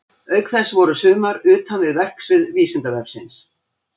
Auk þess voru sumar utan við verksvið Vísindavefsins.